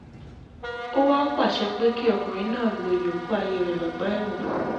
ó wàá pàṣẹ pé kí ọkùnrin náà lọ́ọ́ ìyókù ayé rẹ̀ lọ́gbà ẹ̀wọ̀n